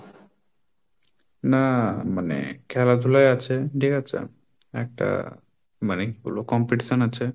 না মানে খেলাধুলাই আছে ঠিক আছে একটা মানে কি বলবো competition আছে।